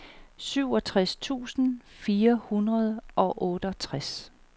syvogtres tusind fire hundrede og otteogtres